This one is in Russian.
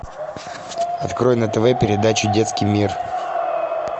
открой на тв передачу детский мир